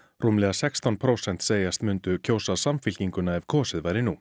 rúmlega sextán prósent segjast mundu kjósa Samfylkinguna ef kosið væri nú